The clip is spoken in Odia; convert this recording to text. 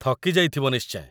ଥକି ଯାଇଥିବ ନିଶ୍ଚୟ ।